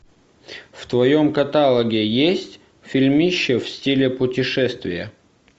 в твоем каталоге есть фильмище в стиле путешествия